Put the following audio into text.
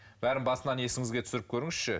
бәрін басынан есіңізге түсіріп көріңізші